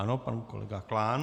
Ano, pan kolega Klán.